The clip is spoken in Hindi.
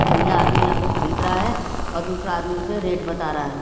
और यह आदमी यहाँ पे खरीद रहा है और दूसरा आदमी उसे रेट बता रहा है।